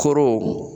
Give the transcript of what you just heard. Koro